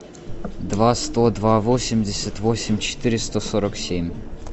два сто два восемьдесят восемь четыреста сорок семь